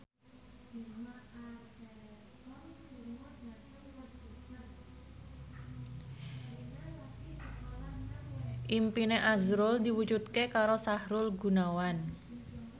impine azrul diwujudke karo Sahrul Gunawan